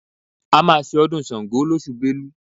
A máa ṣe ọdún Ṣàngó lóṣù Belu